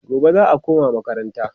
gobe za'a koma makaranta